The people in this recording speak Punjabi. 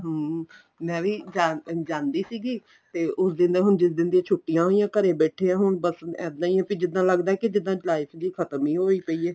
ਹਮ ਮੈਂ ਵੀ ਜਾਨ ਜਾਂਦੀ ਸੀਗੀ ਤੇ ਉਸ ਦਿਨ ਦੇ ਹੁਣ ਜਿਸ ਦਿਨ ਦੀਆਂ ਛੁੱਟੀਆਂ ਹੋਈਆਂ ਘਰੇ ਬੈਠੇ ਹੁਣ ਬੱਸ ਇੱਦਾਂ ਈ ਵੀ ਜਿੱਦਾਂ ਲਗਦਾ ਕੀ ਜਿੱਦਾਂ life ਜੀ ਖਤਮ ਈ ਹੋਈ ਪਈ ਏ